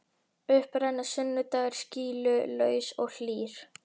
Upp rennur sunnudagur skýlaus og hlýr.